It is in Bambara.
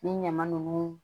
Ni ɲama nunnu